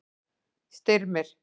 Styrmir